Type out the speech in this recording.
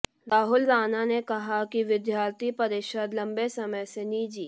राहुल राणा ने कहा कि विद्यार्थी परिषद लंबे समय से निजी